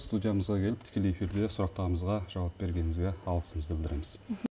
студиямызға келіп тікелей эфирде сұрақтарымызға жауап бергеніңізге алғысымызды білдіреміз